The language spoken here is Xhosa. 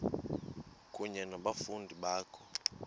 kunye nabafundi bakho